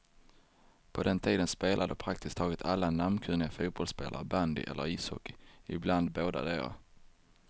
På den tiden spelade praktiskt taget alla namnkunniga fotbollsspelare bandy eller ishockey, ibland bådadera.